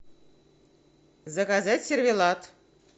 заказать сервелат